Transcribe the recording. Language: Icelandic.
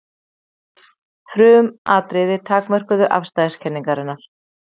Frumatriði takmörkuðu afstæðiskenningarinnar.